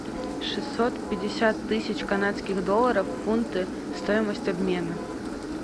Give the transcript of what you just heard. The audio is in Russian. шестьсот пятьдесят тысяч канадских долларов в фунты стоимость обмена